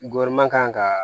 kan ka